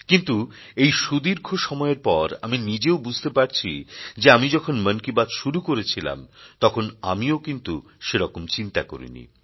কিন্তু এই সুদীর্ঘ সময়ের পর আমি নিজেও বুঝতে পারছি যে আমি যখন মন কি বাত শুরু করেছিলাম তখন আমিও কিন্তু সেরকম চিন্তা করিনি